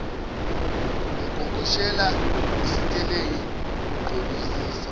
unkonkoshela isitelingi ugqolozisa